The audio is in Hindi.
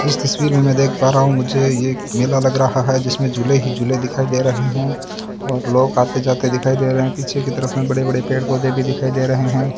इस तस्वीर में मैं देख पा रहा हूं मुझे यह मेला लग रहा है जिसमें झूले ही झूले दिखाई दे रहे हैं और लोग आते जाते दिखाई दे रहे हैं पीछे की तरफ में बड़े बड़े पेड़ पौधे भी दिखाई दे रहे हैं।